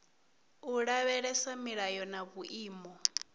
u lavhelesa milayo na vhuimo